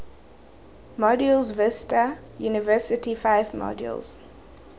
modules vista university five modules